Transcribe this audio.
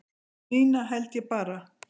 Nína held ég bara